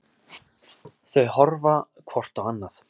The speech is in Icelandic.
Þau horfa hvort á annað.